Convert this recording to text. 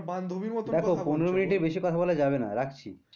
বান্ধবীর মতো কথা দেখো পনেরো মিনিটের বেশি কথা বলা যাবে না রাখছি।